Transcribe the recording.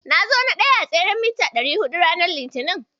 Na zo na ɗaya s tseren mita ɗari huɗu ranar Litinin.